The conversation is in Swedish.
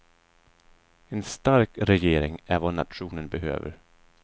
En stark regering är vad nationen behöver.